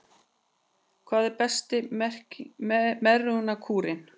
Hver er besti megrunarkúrinn